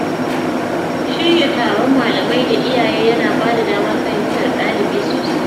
Shirya taron malamai da iyaye yana bada damar fahimtar ɗalibi sosai.